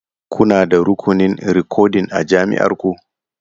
Kuna da rukunin rikodin a jami'ar ku?